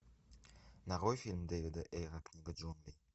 нарой фильм дэвида эйра книга джунглей